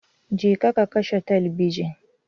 Je ka ka kashe talabijin